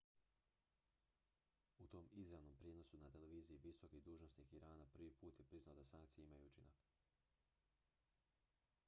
u tom izravnom prijenosu na televiziji visoki dužnosnik irana prvi put je priznao da sankcije imaju učinak